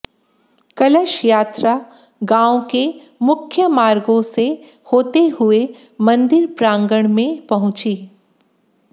कलश यात्रा गांव के मुख्य मार्गों से होते हुए मंदिर प्रांगण में पहुंची